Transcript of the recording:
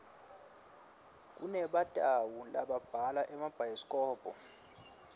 kunebantau lababhala emabhayisikobho